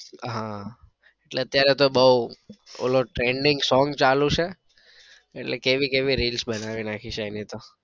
હા એટલે અત્યારે તો બઉ ઓલો trending song ચાલુ છે એટલે કેવી કેવી reels બનાવી નાખી છે એની તો.